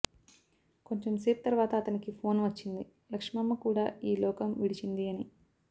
కొంచెం సేపు తరువాత అతనికి ఫోన్ వచ్చింది లక్ష్మమ్మ కూడా ఈ లోకం విడిచింది అని